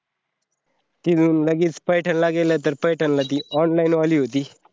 तिथून लगेच पैठण ला गेले तर पैठणला ती online वली होती.